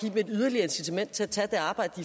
et yderligere incitament til at tage det arbejde